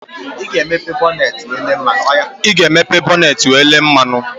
Ị ga-emepe bọneetị wee lelee mmanụ